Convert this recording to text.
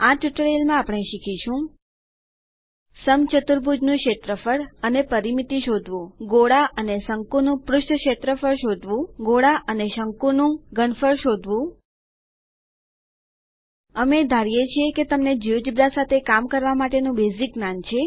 આ ટ્યુટોરીયલમાં આપણે શીખીશું સમચતુર્ભુજનું ક્ષેત્રફળ અને પરિમિતિ શોધવું ગોળા અને શંકુનું પૃષ્ઠ ક્ષેત્રફળ શોધવું ગોળા અને શંકુનું ઘનફળ શોધવું અમે ધારીએ છીએ કે તમને જિયોજેબ્રા સાથે કામ કરવા માટેનું બેઝીક જ્ઞાન છે